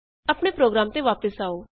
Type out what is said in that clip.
ਆਪਣੇ ਪ੍ਰੋਗਰਾਮ ਤੇ ਵਾਪਸ ਆਉ